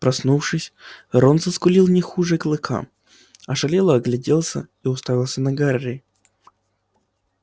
проснувшись рон заскулил не хуже клыка ошалело огляделся и уставился на гарри